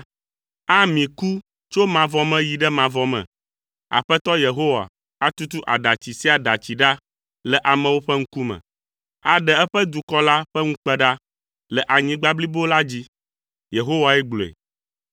Ami ku tso mavɔ me yi ɖe mavɔ me. Aƒetɔ Yehowa atutu aɖatsi sia aɖatsi ɖa le amewo ƒe ŋkume. Aɖe eƒe dukɔ la ƒe ŋukpe ɖa le anyigba blibo la dzi. Yehowae gblɔe.